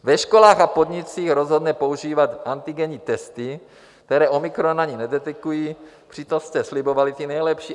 Ve školách a podnicích rozhodne používat antigenní testy, které omikron ani nedetekují, přitom jste slibovali ty nejlepší.